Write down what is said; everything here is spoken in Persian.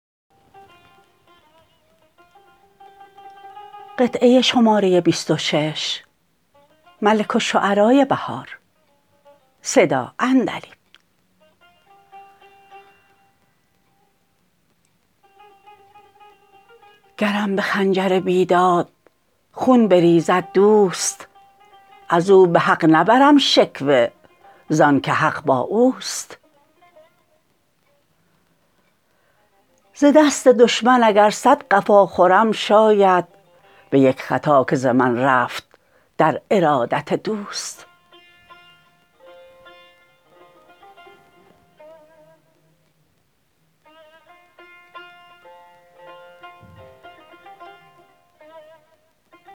گرم به خنجر بیداد خون بریزد دوست ازو به حق نبرم شکوه زان که حق با اوست ز دست دشمن اگر صد قفا خورم شاید به یک خطا که ز من رفت در ارادت دوست